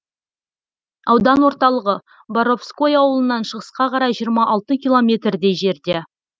аудан орталығы боровской ауылынан шығысқа қарай жиырма алты километрдей жерде